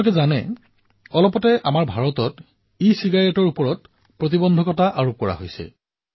আপোনালোকে জানিব অলপতে ভাৰতত ইচিগাৰেট বন্ধ কৰা হৈছে